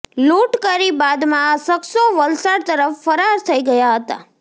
લૂંટ કરી બાદમાં આ શખ્સો વલસાડ તરફ ફરાર થઈ ગયાં હતા